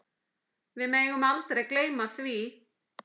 Við megum aldrei gleyma því.